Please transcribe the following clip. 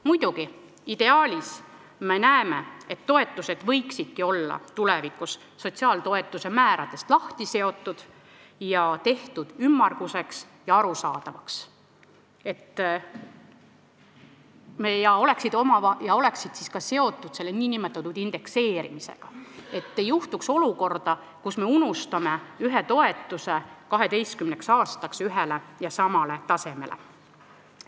Muidugi, ideaalis me näeme, et toetused võiksidki olla tulevikus sotsiaaltoetuste määradest lahti seotud, tehtud ümmarguseks ja arusaadavaks ning oleksid seotud nn indekseerimisega, et ei juhtuks olukorda, kus me unustame mõne toetuse 12 aastaks ühele ja samale tasemele.